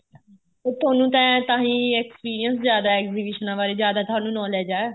ਹੁਣ ਤੁਹਾਨੂੰ ਤੇ ਤਾਂਹੀ experience ਜਿਆਦਾ ਏਗਜੀਬਿਸ਼ਨਾ ਬਾਰੇ ਜਿਆਦਾ ਤੁਹਾਨੂੰ knowledge ਏ